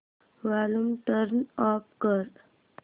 volume turn off कर